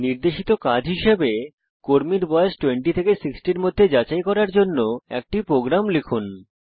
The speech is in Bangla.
নির্দেশিত কাজ হিসাবে কর্মীর বয়স 20 থেকে 60 এর মধ্যে যাচাই করার জন্য একটি প্রোগ্রাম লিখুন